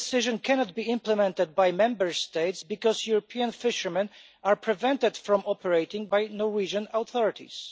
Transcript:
This decision cannot be implemented by Member States because European fishermen are being prevented from operating by Norwegian authorities.